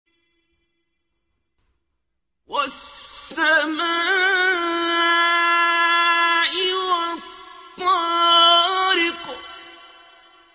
وَالسَّمَاءِ وَالطَّارِقِ